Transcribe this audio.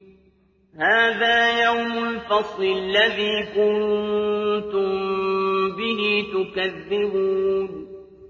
هَٰذَا يَوْمُ الْفَصْلِ الَّذِي كُنتُم بِهِ تُكَذِّبُونَ